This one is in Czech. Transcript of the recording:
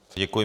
Děkuji.